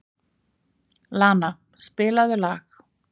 Lana, spilaðu lag.